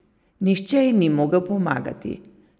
Nihče ji ni mogel pomagati.